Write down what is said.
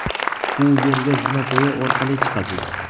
u yerga zinapoya orqali chiqasiz!.